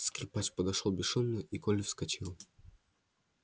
скрипач подошёл бесшумно и коля вскочил